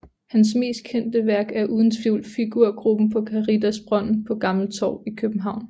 Hans mest kendte værk er uden tvivl figurgruppen på Caritasbrønden på Gammeltorv i København